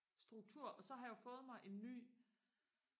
struktur og så har jeg jo fået mig en ny